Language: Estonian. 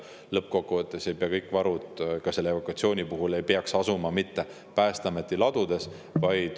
Lõppkokkuvõttes ei pea kõik varud ka evakutsiooni puhul asuma Päästeameti ladudes.